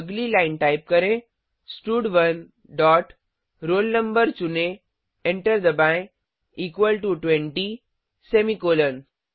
अगली line type करें स्टड1 डॉट roll no चुनें एंटर दबाएँ इक्वल टो 20 सेमीकॉलन